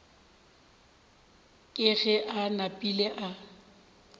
ke ge a napile a